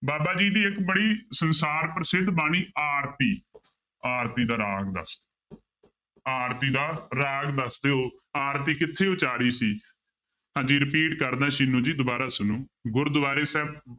ਬਾਬਾ ਜੀ ਦੀ ਇੱਕ ਬੜੀ ਸੰਸਾਰ ਪ੍ਰਸਿੱਧ ਬਾਣੀ ਆਰਤੀ ਆਰਤੀ ਦਾ ਰਾਗ ਦੱਸ ਆਰਤੀ ਦਾ ਰਾਗ ਦੱਸ ਦਿਓ ਆਰਤੀ ਕਿੱਥੇ ਉਚਾਰੀ ਸੀ ਹਾਂਜੀ repeat ਕਰਦਾਂ ਸਿੰਨੂ ਜੀ ਦੁਬਾਰਾ ਸੁਣੋ ਗੁਰਦੁਆਰੇ ਸਾਹਿਬ